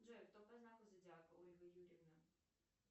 джой кто по знаку зодиака ольга юрьевна